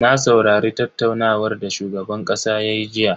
Na saurari tattaunawar da shugaban kasa ya yi jiya.